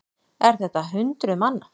Er þetta hundruð manna?